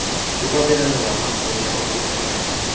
yokwabelana ngamagunya okujonagana